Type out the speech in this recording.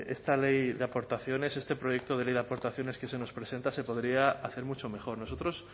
esta ley de aportaciones este proyecto de ley de aportaciones que se nos presenta se podría hacer mucho mejor nosotros